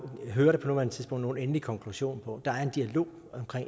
hører det på nuværende tidspunkt nogen endelig konklusion på der er en dialog